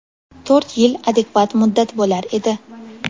To‘rt yil adekvat muddat bo‘lar edi.